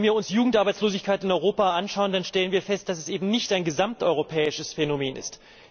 Wenn wir uns die Jugendarbeitslosigkeit in Europa anschauen, dann stellen wir fest, dass es eben nicht ein gesamteuropäisches Phänomen ist.